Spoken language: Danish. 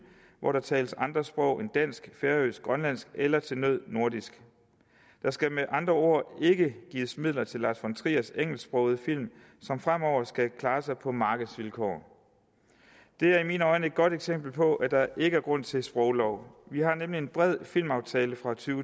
hvor der tales andre sprog end dansk færøsk grønlandsk eller til nød nordisk der skal med andre ord ikke gives midler til lars von triers engelsksprogede film som fremover skal klare sig på markedsvilkår det er i mine øjne et godt eksempel på at der ikke er grund til at sproglov vi har nemlig en bred filmaftale fra to